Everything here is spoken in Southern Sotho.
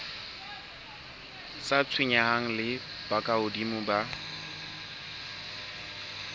sa tshwenyaneng le bokahodimo ba